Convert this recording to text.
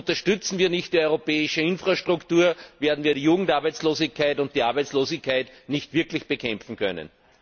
Unterstützen wir nicht die europäische Infrastruktur, werden wir die Jugendarbeitslosigkeit und die Arbeitslosigkeit nicht wirklich bekämpfen können.